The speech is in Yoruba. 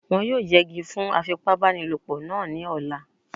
Wọ́n yóò yẹgi fún afipábanílòpọ̀ náà ní ọ̀la